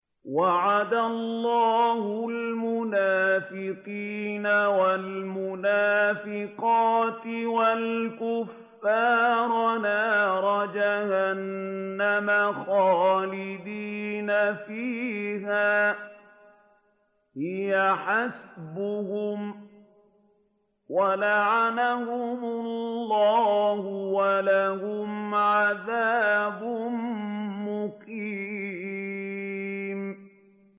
وَعَدَ اللَّهُ الْمُنَافِقِينَ وَالْمُنَافِقَاتِ وَالْكُفَّارَ نَارَ جَهَنَّمَ خَالِدِينَ فِيهَا ۚ هِيَ حَسْبُهُمْ ۚ وَلَعَنَهُمُ اللَّهُ ۖ وَلَهُمْ عَذَابٌ مُّقِيمٌ